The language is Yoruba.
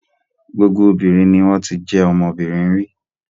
Gbogbo obìnrin ni wọ́n ti jẹ́ ọmọbìnrin rí.